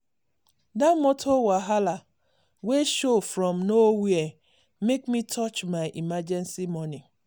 dat motor wahala wey show from nowhere make me touch my emergency money.